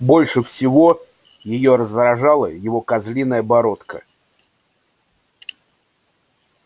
больше всего её раздражала его козлиная бородка